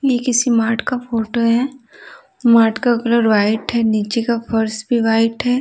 ये किसी मार्ट का फोटो है मार्ट का कलर वाइट है नीचे का फ़र्श भी वाइट है।